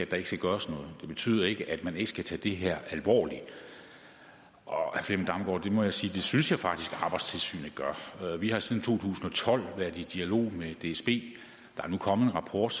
der ikke skal gøres noget det betyder ikke at man ikke skal tage det her alvorligt og jeg må sige til synes jeg faktisk arbejdstilsynet gør vi har siden to tusind og tolv været i dialog med dsb der er nu kommet en rapport